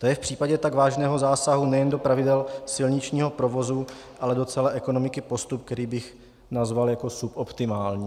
To je v případě tak vážného zásahu nejen do pravidel silničního provozu, ale do celé ekonomiky postup, který bych nazval jako suboptimální.